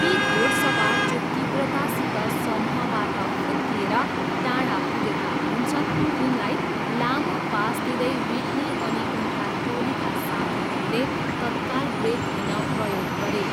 ती घोडसवार जो तीव्रतासित समूहबाट फुत्किएर टाडा पुगेका हुन्छन्, तिनलाई लामो पास दिँदै विट्नी अनि उनका टोलीका साथीहरूले तत्काल ब्रेक लिन प्रयोग गरे।